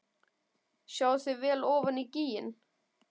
Sjáið þið vel ofan í gíginn?